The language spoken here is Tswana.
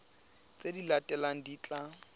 tse di latelang di tla